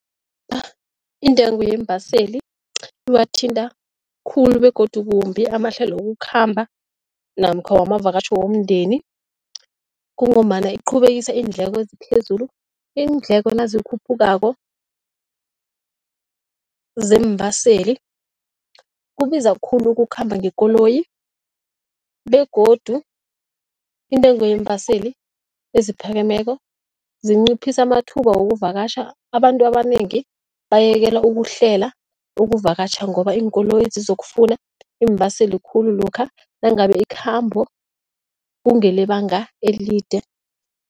Intengo yeembaseli iwathinta khulu begodu kumbi amahlelo wokukhamba namkha wamavakatjho womndeni kungombana iqhubekisa iindleko eziphezulu. Iindleko nazikhuphukako zeembaseli, kubiza khulu ukukhamba ngekoloyi begodu intengo yeembaseli eziphakemeko zinciphisa amathuba wokuvakatjha, abantu abanengi bayekela ukuhlela ukuvakatjha ngoba iinkoloyi zizokufuna iimbaseli khulu lokha nangabe ikhambo kungelebanga elide.